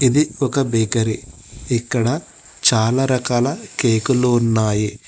ఇది ఒక బేకరీ ఇక్కడ చాలా రకాల కేకలు ఉన్నాయి.